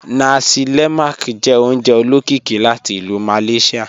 Nàsí lé̩màk jẹ́ ò̩ùnjẹ̀ ò̩ló̩kíkí láti Ilú Malaysia.